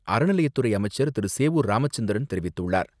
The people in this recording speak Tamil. அறநிலையத்துறை அமைச்சர் திரு.சேவூர் ராமச்சந்திரன் தெரிவித்துள்ளார்.